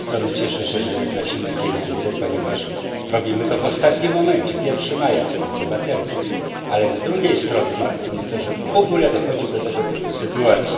Z jednej strony cieszę się, że nie tracimy pieniędzy, ponieważ robimy to w ostatnim momencie 1 maja upływa termin ale z drugiej strony martwi mnie to, że w ogóle dochodzi do tego typu sytuacji.